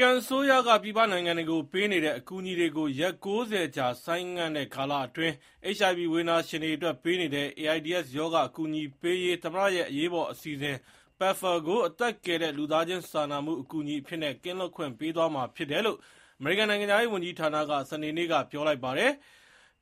ကန်အစိုးရက ပြည်ပနိုင်ငံတွေကို ပေးနေတဲ့ အကူအညီတွေကို ရက် ၉၀ ကြာ ဆိုင်းငံ့တဲ့ကာလအတွင်း၊ HIV ဝေဒနာရှင်တွေအတွက် ပေးနေတဲ့ AIDS ရောဂါ အကူအညီပေးရေး သမ္မတရဲ့ PEPFAR ကို အသက်ကယ်တဲ့ လူသားချင်းစာနာမှု အကူအညီအဖြစ်နဲ့ ကင်းလွတ်ခွင့်ပေးသွားမှာ ဖြစ်တယ်လို့ ကန်နိုင်ငံခြားရေးဝန်ကြီးဌာနက ပြောလိုက်ပါတယ်။